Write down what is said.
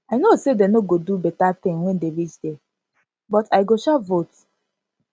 i know say dey no go do beta thing wen dey reach there but i go sha vote